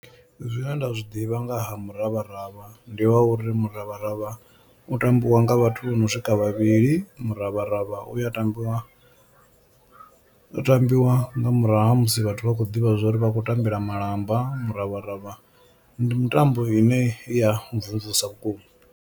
Zwine nda zwi ḓivha nga ha muravharavha ndi ha uri muravharavha u tambiwa nga vhathu vho no swika vhavhili, muravharavha uya tambiwa u tambiwa nga murahu ha musi vhathu vha khou ḓivha zwa uri vha khou tambela malamba. Muravharavha ndi mitambo ine ya mvumvusa vhukuma.